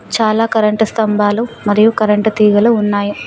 చాలా కరెంటు స్తంభాలు మరియు కరెంటు తీగలు ఉన్నాయి.